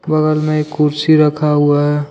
बगल में एक कुर्सी रखा हुआ है।